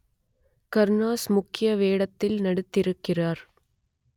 கருணாஸ் முக்கிய வேடத்தில் நடித்திருக்கிறார்